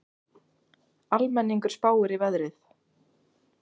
Almenningur spáir í veðrið